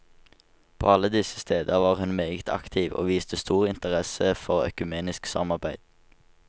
På alle disse steder var hun meget aktiv og viste stor interesse for økumenisk samarbeid.